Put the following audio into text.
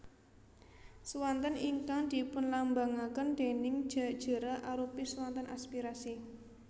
Swanten ingkang dipunlambangaken déning Ja jera arupi swanten aspirasi